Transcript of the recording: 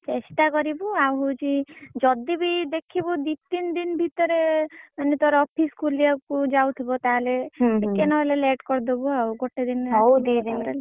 ଚେଷ୍ଟା କରିବୁ ଆଉ ହଉଛି ଯଦି ବି ଦେଖିବୁ ଦି ତିନି ଦିନ ଭିତରେ ମାନେ ତୋର office ଖୋଲିବାକୁ ଯାଉଥିବ ତାହେଲେ ଟିକେ ନହେଲେ late କରଦବୁ ଆଉ ଗୋଟେ ଦିନ